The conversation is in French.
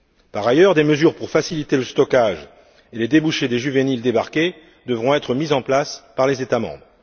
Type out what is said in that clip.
Par ailleurs, des mesures pour faciliter le stockage et les débouchés des juvéniles débarqués devront être mises en place par les États membres.